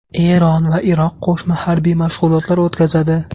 Eron va Iroq qo‘shma harbiy mashg‘ulotlar o‘tkazadi.